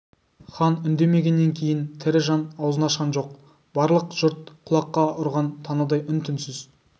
хан үндемегеннен кейін тірі жан аузын ашқан жоқ барлық жұрт құлаққа ұрған танадай үн-түнсіз